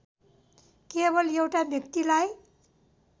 केवल एउटा व्यक्तिलाई